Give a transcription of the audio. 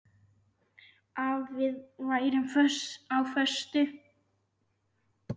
Að við værum á föstu.